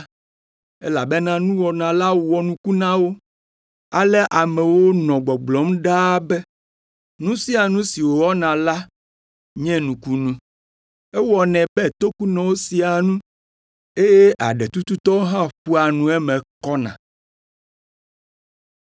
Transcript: Elabena nuwɔna la wɔ nuku na wo. Ale amewo nɔ gbɔgblɔm ɖaa be, “Nu sia nu si wòwɔna la nye nukunu. Ewɔnɛ be tokunɔ sea nu, eye aɖetututɔ hã ƒoa nu eme kɔna!”